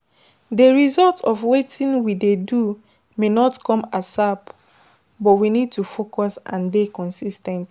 um Somtimes we um need um to just dey do one thing over and over again to fit sabi am well